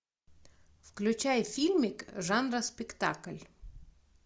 включай фильмик жанра спектакль